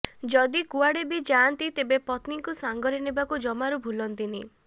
ଯଦି କୁଆଡ଼େ ବି ଯାଆନ୍ତି ତେବେ ପତ୍ନୀଙ୍କୁ ସାଙ୍ଗରେ ନେବାକୁ ଜମାରୁ ଭୁଲନ୍ତିନି